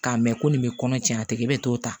K'a mɛ ko nin bɛ kɔnɔ tiɲɛ a tɛ i bɛ t'o ta